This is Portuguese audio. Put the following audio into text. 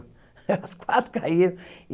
As quatro caíram.